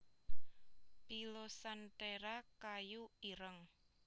pilosanthera kayu ireng